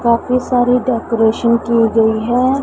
काफी सारी डेकोरेशन की गई है।